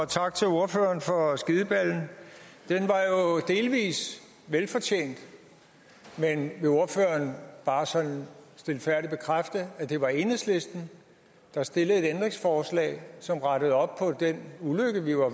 tak til ordføreren for skideballen den var jo delvis velfortjent men vil ordføreren bare sådan stilfærdigt bekræfte at det var enhedslisten der stillede et ændringsforslag som rettede op på den ulykke vi var